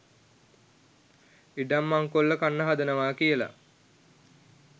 ඉඩම් මංකොල්ල කන්න හදනවා කියලා